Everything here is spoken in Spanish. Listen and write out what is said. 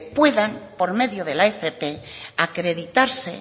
puedan por medio de la fp acreditarse